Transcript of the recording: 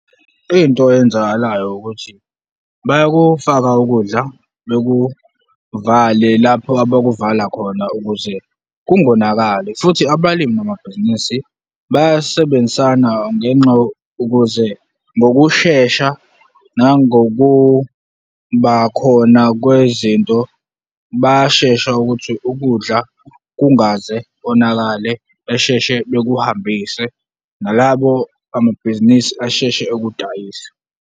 Into enzakalayo ukuthi bayakufaka ukudla, bekuvale lapho abakuvala khona ukuze kungonakali futhi abalimi bamabhizinisi bayasebenzisana ngenxa, ukuze ngokushesha nangokubakhona kwezinto, bayashesha ukuthi ukudla kungaze konakale, besheshe bekuhambise nalabo bamabhizinisi asheshe ukudayisa.